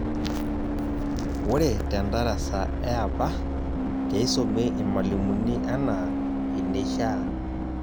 Ore tedarasa eapa, keisumi irmalimuni anaa eneishaa.